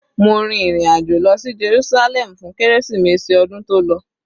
Mo rìn ìrin àjò lọ sí Jerúsálẹ́mù fún kérésìmesì ọdún tó lọ.